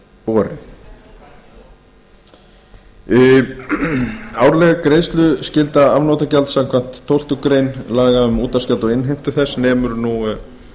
borið árleg greiðsluskylda afnotagjalds samkvæmt tólftu grein laga númer hundrað tuttugu og tvö tvö þúsund um útvarpsgjald og innheimtu þess nemur nú